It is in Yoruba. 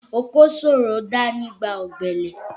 Oko ṣòro dá nígbà ọ̀gbẹlẹ̀